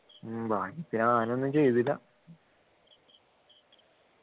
ഉം ഭാഗ്യത്തിന് ആനയൊന്നും ചെയ്തില്ല